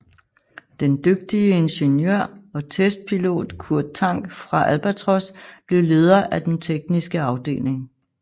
Den dygtige ingeniør og testpilot Kurt Tank fra Albatros blev leder af den tekniske afdeling